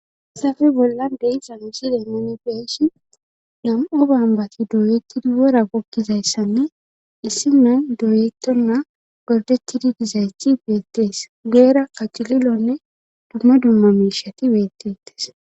Hasafe bolla dei sa usida manfeyshi gam7o bambati dooyetidi wora gokkizayssanne issiman dooyetonna gordetidi gizayti beettees geera kacililonne dumma dumma miishati weettettes.